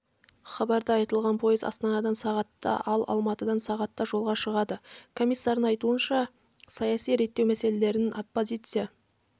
хабарда айтылғандай поезд астанадан сағатта ал алматыдан сағатта жолға шығады комиссардың айтуынша саяси реттеу мәселелерін оппозиция